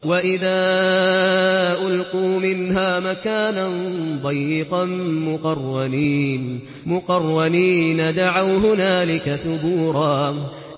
وَإِذَا أُلْقُوا مِنْهَا مَكَانًا ضَيِّقًا مُّقَرَّنِينَ دَعَوْا هُنَالِكَ ثُبُورًا